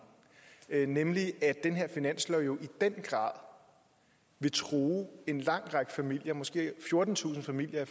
nemlig at den her finanslov jo i den grad vil true en lang række familier måske fjortentusind familier